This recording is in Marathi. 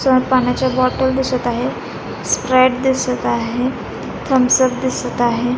समोर पाण्याच्या बॉटल दिसत आहेत स्प्राइट दिसत आहे थम्स अप दिसत आहे.